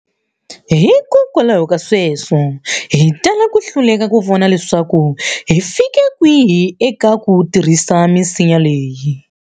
Hikwalaho ka sweswo, hi tala ku hluleka ku vona leswaku hi fike kwihi eka ku tirhisa misinya leyi.